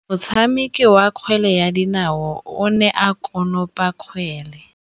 Motshameki wa kgwele ya dinaô o ne a konopa kgwele.